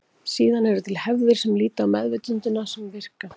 Síðan eru til hefðir sem líta á meðvitundina sem virka.